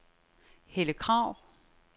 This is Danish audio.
Helle Krag